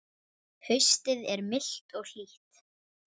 Haustið er milt og hlýtt.